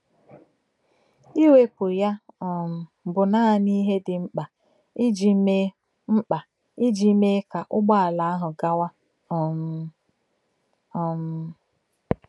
Iwepụ ya um bụ naanị ihe dị mkpa iji mee mkpa iji mee ka ụgbọala ahụ gawa um. um